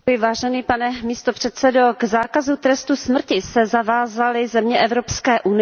Pane předsedající, k zákazu trestu smrti se zavázaly země Evropské unie.